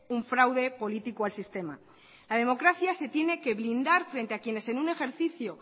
un fraude político al sistema la democracia se tiene que blindar frente a quienes en un ejercicio